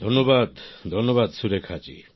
ধন্যবাদ সুরেখা জী